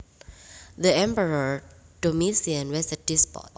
The Emperor Domitian was a despot